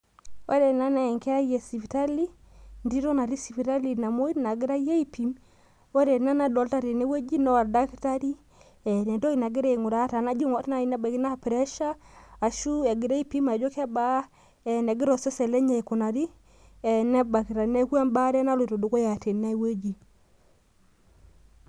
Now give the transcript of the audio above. ore ena naa entito naatii sipitali namoi nagirai aipim , ore ena ngae naa oldakitari ore entoki nagira aigua naa kajo ke pressure, enegira osesen lenye aikunari neeku ebaare naloito dukuya tene.